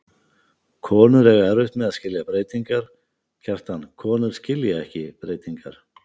Konur eiga erfitt með að skilja breytingar, Kjartan, konur skilja ekki breytingar.